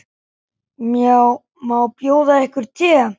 Má bjóða yður te?